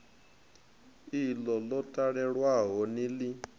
iḽo ḽo talelwaho ni ḽi